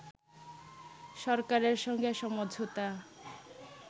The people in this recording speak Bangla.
সরকারের সঙ্গে সমঝোতা